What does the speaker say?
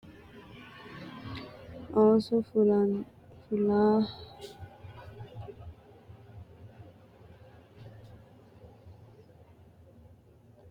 osu fullahaano xiinxallo leellishshanno garinni mitte gobbara lopho abbitanno yine hendanni doogga ilama rossanno gede jawaachisha meyaa beetto rosiisa gibirinnu looso qajeelshunni irkisa ikkitara dandiitanno.